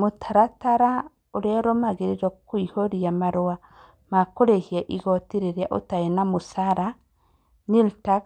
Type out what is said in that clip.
Mũtaratara ũrĩa ũrũmagĩrĩrwo kũihũrio marũa ma kũiyũria igooti rĩrĩa ũtarĩ na mũcara nĩyo nil TAX